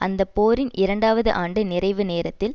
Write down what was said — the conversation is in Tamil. அந்த போரின் இரண்டாவது ஆண்டு நிறைவு நேரத்தில்